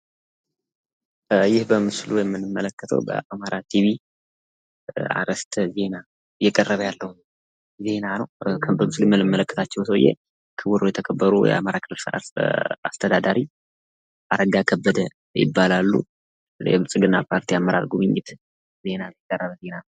ይህ በምስሉ የምንመለከተዉ በአማራ ቲቪ አርዕስተ ዜና የቀረበ ያለ ዜና ነዉ። በምስሉ የምንመለከታቸዉ ሰዉየ የአማራ ክልል አስተዳዳሪ ክቡር የተከበሩ አረጋ ከበደ ይባላሉ። የብልፅግና ፓርቲ አመራር ጉብኝት የተሰራ ዜና ነዉ።